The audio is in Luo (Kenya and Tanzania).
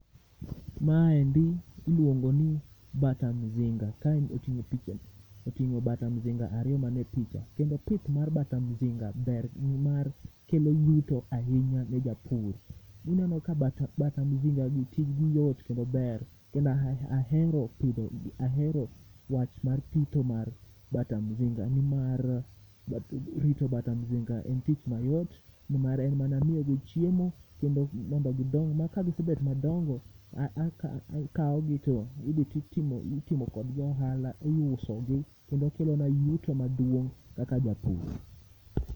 Maendi iluongo ni bata mzinga, kaen oting'o picha, oting'o bata mzinga ariyo mane picha. Kendo pith mar bata mzinga ber nimar kelo yuto ahinya ne japur. Ni mano ka bata mzinga gi tijgi yot kendo ber. Kenda ahero pidho, ahero wach pitho mar bata mzinga nimar rito bata mzinga en tich mayot, nimar en mana miyogi chiemo kendo mondo gidong ma. Kagisebet madongo, a akawogi to idhi titimo kodgi ohala, iusogi kendo kelona yuto maduong' kaka japur.